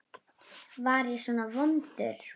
Var ég svona vondur?